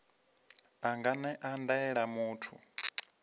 a nga ṅea ndaela muthu